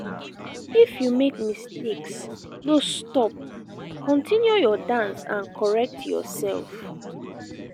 if you make mistakes no stop continue your dance and correct yourself